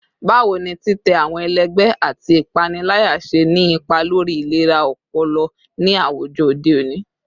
Bawo ni titẹ awọn ẹlẹgbẹ ati ipanilaya ṣe ni ipa lori ilera ọpọlọ ni awujọ ode oni?